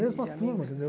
mesma turma entendeu?